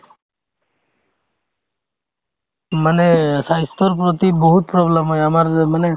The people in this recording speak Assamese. মানে স্বাস্থ্যৰ প্ৰতি বহুত problem হয় আমাৰ যে মানে